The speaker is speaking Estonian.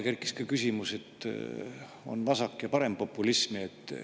Kerkis ka, et on vasak‑ ja parempopulism.